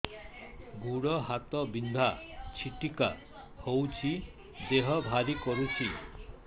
ଗୁଡ଼ ହାତ ବିନ୍ଧା ଛିଟିକା ହଉଚି ଦେହ ଭାରି କରୁଚି